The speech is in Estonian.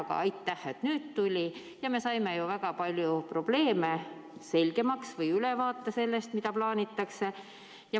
Aga aitäh, et nüüd tuli, ja me saime ju väga palju probleeme selgemaks või ülevaate sellest, mida plaanitakse.